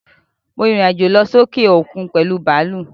Mo rìrìn àjò lọ sókè òkun pèlú bàlúù.